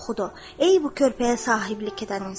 "Ey bu körpəyə sahiblik edən insan".